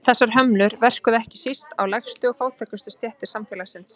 Þessar hömlur verkuðu ekki síst á lægstu og fátækustu stéttir samfélagsins.